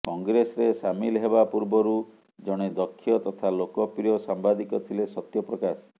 କଂଗ୍ରେସରେ ସାମିଲ ହେବା ପୂର୍ବରୁ ଜଣେ ଦକ୍ଷ ତଥା ଲୋକପ୍ରିୟ ସାମ୍ବାଦିକ ଥିଲେ ସତ୍ୟପ୍ରକାଶ